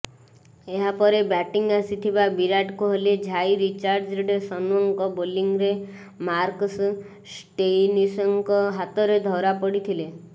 ଏହାପରେ ବ୍ୟାଟିଂ ଆସିଥିବା ବିରାଟ କୋହଲି ଝାଇ ରିଚାର୍ଡସନ୍ଙ୍କ ବୋଲିଂରେ ମାର୍କସ୍ ଷ୍ଟୋଇନିସ୍ଙ୍କ ହାତରେ ଧରାପଡ଼ିଥିଲେ